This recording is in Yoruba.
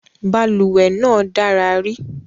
Balùwẹ́ náà dára ri